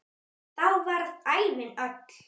Þá varð ævin öll.